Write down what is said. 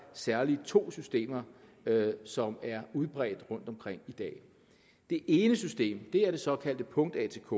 særlig er to systemer som er udbredt rundtomkring i dag det ene system er det såkaldte punkt atk